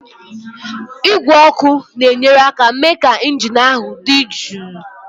Igwe ọkụ na-enyere aka mee ka injin ahụ dị jụụ.